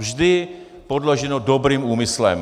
Vždy podloženo dobrým úmyslem.